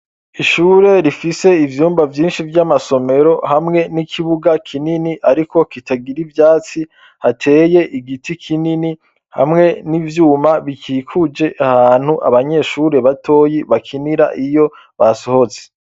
Ishure rifise ivyumba vyinshi vy'amasomero hamwe n'ikibuga kinini, ariko kitagira ivyatsi hateye igiti kinini hamwe n'ivyuma bikikuje ahantu abanyeshure batoyi bakinira iyo basohoze.